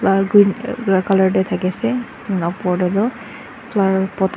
la colour teh thaki ase upper te tu flower pot.